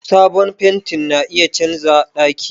Sabon fenti na iya canza daki.